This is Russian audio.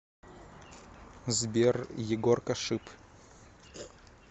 сбер егоркашип